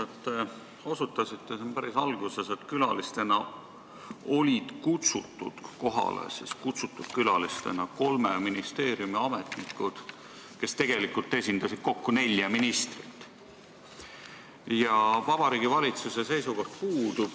Te osutasite siin päris alguses, et külalistena olid kohale kutsutud kolme ministeeriumi ametnikud, kes tegelikult esindasid kokku nelja ministrit, ja Vabariigi Valitsuse seisukoht puudub.